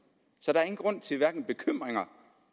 så der er ingen grund til hverken bekymringer